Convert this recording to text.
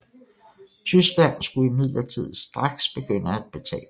Tyskland skulle imidlertid straks begynde at betale